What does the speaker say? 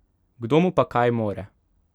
Kdo mu pa kaj more?